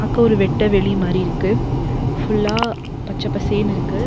கோ ஒரு வெட்ட வெளி மாரி இருக்கு ஃபுல்லா பச்ச பசேனு இருக்கு.